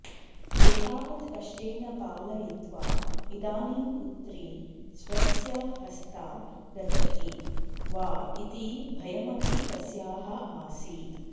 एतावत् कष्टेन पालयित्वा इदानीं पुत्री स्वस्य हस्तात् गच्छति वा इति भयमपि तस्याः आसीत्